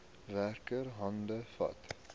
werker hande vat